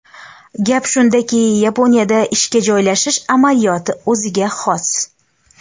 Gap shundaki, Yaponiyada ishga joylashish amaliyoti o‘ziga xos.